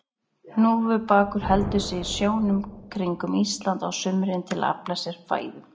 Hnúfubakur heldur sig í sjónum kringum Ísland á sumrin til að afla sér fæðu.